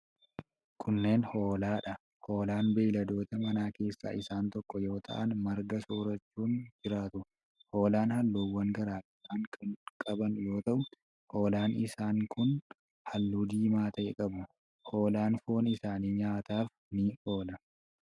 Kunneen ,hoolaa dha. Hoolaan beeyiladoota manaa keessaa isaan tokko yoo ta'an, marga soorachuun jiraatu. Hoolaan haalluuwwan garaa garaa kan qaban yoo ta'u, hoolaan isaan kun haalluu diimaa ta'e qabu. Hoolaan foon isaanii nyaataf ni oola.